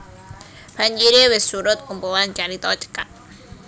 Banjire Wis Surut kumpulan carita cekak